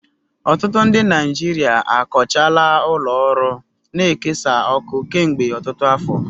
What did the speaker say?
Ọtụtụ ndị Naijiria akọchaala ụlọ ọrụ na-ekesa ọkụ kemgbe ọtụtụ afọ.